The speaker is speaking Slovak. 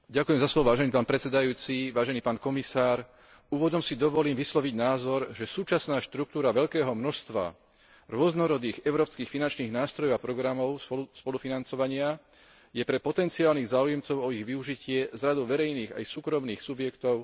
Na úvod si dovolím vysloviť názor, že súčasná štruktúra veľkého množstva rôznorodých európskych finančných nástrojov a programov spolufinancovania je pre potenciálnych záujemcov o ich využitie z radov verejných aj súkromných subjektov dosť neprehľadná.